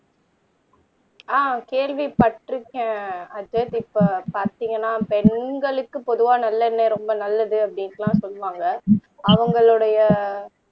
ஆஹ் கேள்விப்பட்டிருக்கேன் அஜித் இப்ப பார்த்தீங்கன்னா பெண்களுக்கு பொதுவா நல்லெண்ணெய் ரொம்ப நல்லது அப்படின்னு எல்லாம் சொல்லுவாங்க அவங்களுடைய